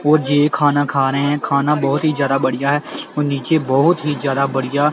ਔਰ ਯੇ ਖਾਣਾ ਖਾ ਰਹੇ ਹੈ ਬਹੁਤ ਹੀ ਜਿਆਦਾ ਬੜੀਆ ਹੈ ਨੀਚੇ ਬਹੁਤ ਹੀ ਜਿਆਦਾ ਬੜੀਆ